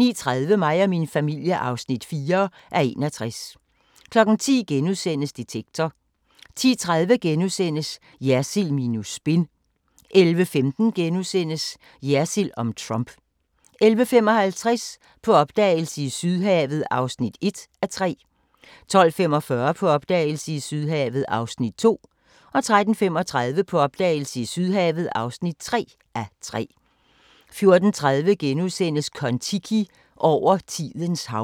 09:30: Mig og min familie (4:61) 10:00: Detektor * 10:30: Jersild minus spin * 11:15: Jersild om Trump * 11:55: På opdagelse i Sydhavet (1:3) 12:45: På opdagelse i Sydhavet (2:3) 13:35: På opdagelse i Sydhavet (3:3) 14:30: Kon-Tiki – over tidens hav *